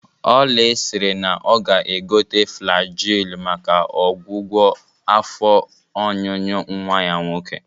Oly siri na ọ ga-egote Flajil maka ọgwụgwọ afọ ọnyụnyụ nwa ya nwoke